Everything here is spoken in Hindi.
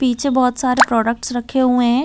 पीछे बहोत सारे प्रोडक्ट्स रखे हुए है।